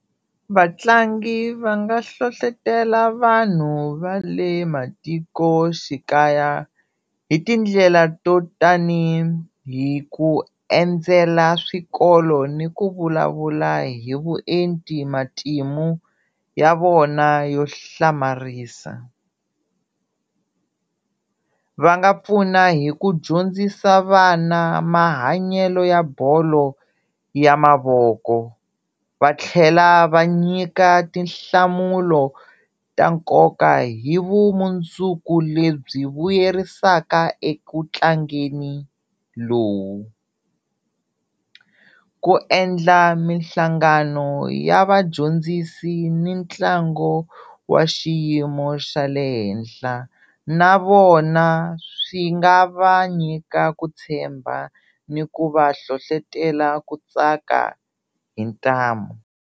Vatlangi va nga hlohletela vanhu va le matikoxikaya hi tindlela to tani hi ku endzela swikolo ni ku vulavula hi vuenti matimu ya vona yo hlamarisa, va nga pfuna hi ku dyondzisa vana mahanyelo ya bolo ya mavoko va tlhela va nyika tinhlamulo ta nkoka hi vumundzuku lebyi vuyerisaka eku tlangeni lowu, ku endla mihlangano ya vadyondzisi ni ntlangu wa xiyimo xa le henhla na vona swi nga va nyika ku tshemba ni ku va hlohletela ku tsaka hi ntamu.